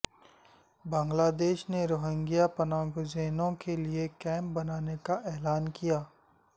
بنگلہ دیش نے روہنگیا پناہ گزینوں کے لیے کیمپ بنانے کا اعلان کیا